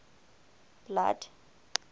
blood